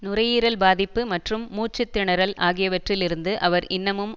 நுரையீரல் பாதிப்பு மற்றும் மூச்சு திணறல் ஆகியவற்றில் இருந்து அவர் இன்னமும்